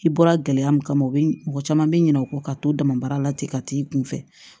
I bɔra gɛlɛya min kama o be mɔgɔ caman be ɲinɛ o kɔ ka to damabaara la ten ka t'i kun fɛ